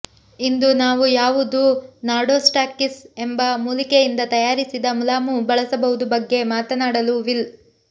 ಇಂದು ನಾವು ಯಾವುದು ನಾರ್ಡೊಸ್ಟಾಕಿಸ್ ಎಂಬ ಮೂಲಿಕೆಯಿಂದ ತಯಾರಿಸಿದ ಮುಲಾಮು ಬಳಸಬಹುದು ಬಗ್ಗೆ ಮಾತನಾಡಲು ವಿಲ್